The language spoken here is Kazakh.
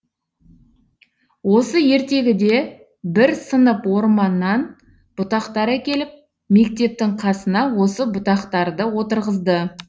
осы ертегіде бір сынып орманнан бұтақтар әкеліп мектептің қасына осы бұтақтарды отырғызды